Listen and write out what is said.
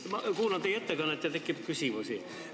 Ma kuulasin teie ettekannet ja mul tekkis küsimusi.